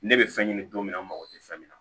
Ne bɛ fɛn ɲini don min na n mago tɛ fɛn min na